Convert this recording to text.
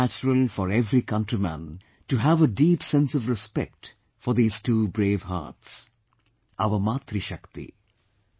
It is very natural for every countryman to have a deep sense of respect for these two bravehearts, our Matri Shakti